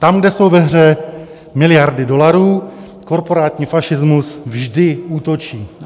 Tam, kde jsou ve hře miliardy dolarů, korporátní fašismus vždy útočí.